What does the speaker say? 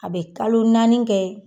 A be kalo naani kɛ